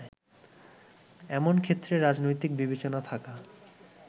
এমন ক্ষেত্রে রাজনৈতিক বিবেচনা থাকা